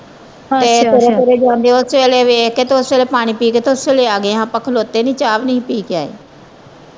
ਤੇ ਤੁਰੇ ਤੁਰੇ ਜਾਂਦੇ ਓਸੇ ਵੇਲੇ ਵੇਖ ਕੇ ਤੇ ਓਸੇ ਵੇਲੇ ਪਾਣੀ ਪੀ ਕੇ ਤੇ ਓਸੇ ਵੇਲੇ ਆ ਗਏ ਹਾਂ ਆਪਾ ਖਲੋਤੇ ਨਹੀਂ ਚਾਹ ਵੀ ਨਹੀਂ ਹੀ ਪੀ ਕੇ ਆਏ।